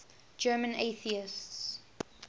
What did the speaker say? german atheists